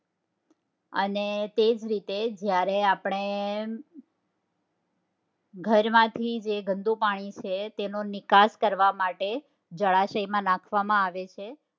અને તેજ રીતે જયારે આપડે ઘરમાંથી જે ગંદુ પાણીછે તેનો નિકાસ કરવા માટે જળાશય માં નાખવામાં આવે છે